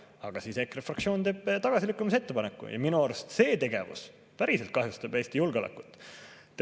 Aga EKRE fraktsioon teeb tagasilükkamise ettepaneku, ja minu arust see tegevus päriselt kahjustab Eesti julgeolekut.